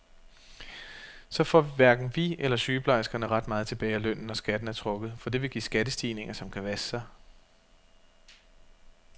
Så får hverken vi eller sygeplejerskerne ret meget tilbage af lønnen, når skatten er trukket, for det vil give skattestigninger, som kan vaske sig.